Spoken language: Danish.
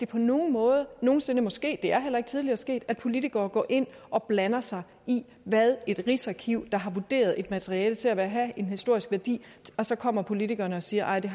på nogen måde nogen sinde må ske det er heller ikke tidligere sket at politikere går ind og blander sig i et rigsarkivs vurderinger har vurderet et materiale til at have en historisk værdi og så kommer politikerne siger at det